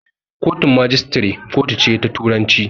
Kotun magistrate kotu ce ta turanci.